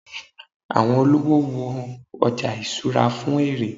awọn olówò wo oja ìṣura fún èrè